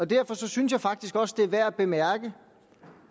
derfor synes jeg faktisk også det er værd